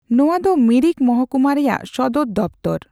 ᱱᱚᱣᱟ ᱫᱚ ᱢᱤᱨᱤᱠ ᱢᱚᱦᱚᱠᱩᱢᱟ ᱨᱮᱭᱟᱜ ᱥᱚᱫᱚᱨ ᱫᱚᱯᱛᱚᱨ ᱾